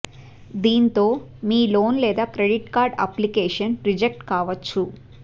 దీంతో మీ లోన్ లేదా క్రెడిట్ కార్డు అప్లికేషన్ రిజెక్ట్ కావొచ్చు